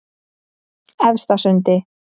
Efstasundi